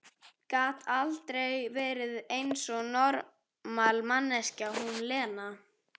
Gat aldrei verið eins og normal manneskja, hún Lena!